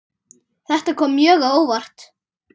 Þetta kom mjög á óvart.